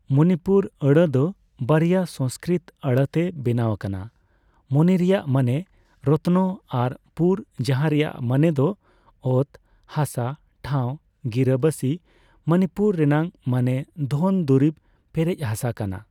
ᱢᱚᱱᱤᱯᱩᱨ ᱟᱹᱲᱟᱹ ᱫᱚ ᱵᱟᱨᱭᱟ ᱥᱚᱝᱥᱠᱨᱤᱛ ᱟᱹᱲᱟᱹ ᱛᱮ ᱵᱮᱱᱟᱣ ᱟᱠᱟᱱᱟ 'ᱢᱚᱱᱤ' ᱨᱮᱭᱟᱜ ᱢᱟᱱᱮ ᱨᱚᱛᱱᱚ ᱟᱨ 'ᱯᱩᱨ', ᱡᱟᱦᱟᱸ ᱨᱮᱭᱟᱜ ᱢᱟᱱᱮ ᱚᱛ ᱦᱟᱥᱟ/ᱴᱷᱟᱣ/ᱜᱤᱨᱟᱹᱵᱟᱥᱤ, ᱢᱚᱱᱤᱯᱩᱨ ᱨᱮᱱᱟᱜ ᱢᱟᱱᱮ ᱫᱷᱚᱱ ᱫᱩᱨᱤᱵᱽ ᱯᱮᱨᱮᱡ ᱦᱟᱥᱟ ᱠᱟᱱᱟ ᱾